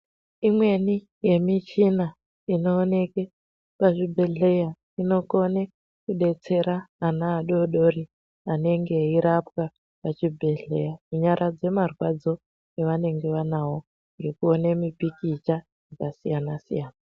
Imweni yemichina inooneke kuzvibhehleya inokone kudetsera ana adodori anenge eirapwa muzvibhehleya kunyaradza marwadzo evanenge vanavo nekuone mipikicha yakasiyana -siyana.